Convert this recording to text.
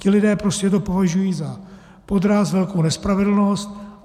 Ti lidé to prostě považují za podraz, velkou nespravedlnost.